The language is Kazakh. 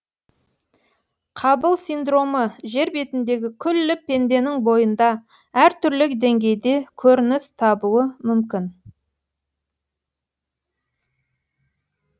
қабыл синдромы жер бетіндегі күллі пенденің бойында әр түрлі деңгейде көрініс табуы мүмкін